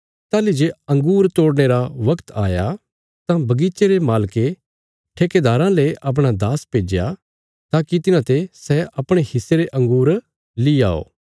ताहली जे अँगूर तोड़ने रा बगत आया तां बगीचे रे मालके ठेकेदाराँ ले अपणा दास भेज्या ताकि तिन्हाते सै अपणे हिस्से रे अँगूर ली आओ